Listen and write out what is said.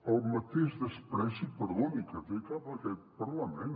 el mateix menyspreu perdoni que té cap a aquest parlament